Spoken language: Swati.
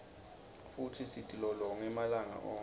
futsi sitilolonge malanga onkhe